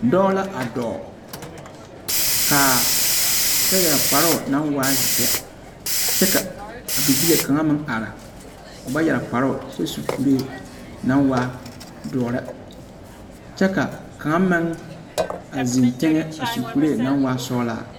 Dͻͻ la a dͻͻŋ kaa kyԑ yԑre kparoŋ naŋ waa zeԑ, kyԑ ka a bibile kaŋa meŋ are o ba yԑre kparoo kyԑ su kuree naŋ waa dõͻre kyԑ ka kaŋ meŋ naŋ zeŋ teŋԑ a su kuree naŋ waa sͻgelaa.